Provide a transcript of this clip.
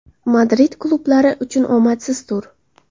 Madrid klublari uchun omadsiz tur.